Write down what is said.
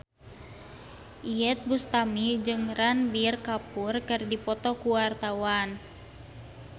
Iyeth Bustami jeung Ranbir Kapoor keur dipoto ku wartawan